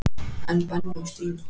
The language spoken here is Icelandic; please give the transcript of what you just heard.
En Benni og Stína?